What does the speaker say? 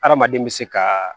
Hadamaden bɛ se ka